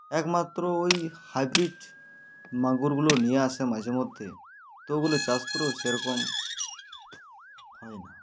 একমাত্র ঐ hybrid মাগুর গুলো নিয়ে আসে মাঝে মধ্যে তো ওগুলোর চাষ পুরো সেরকম হয়না